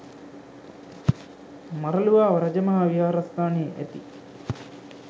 මරළුවාව රජ මහා විහාරස්ථානයේ ඇති